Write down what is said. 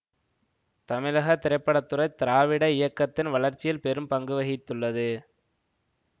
தமிழக திரைப்பட துறை திராவிட இயக்கத்தின் வளர்ச்சியில் பெரும் பங்கு வகித்துள்ளது